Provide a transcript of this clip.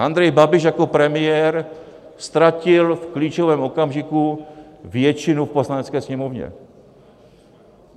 Andrej Babiš jako premiér ztratil v klíčovém okamžiku většinu v Poslanecké sněmovně.